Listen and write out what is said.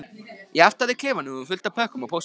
Í aftari klefanum var fullt af pökkum og pósti.